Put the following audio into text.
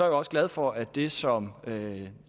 også glad for at det som